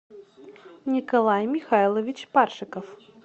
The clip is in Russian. николай михайлович паршиков